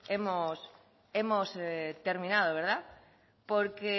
hemos terminado porque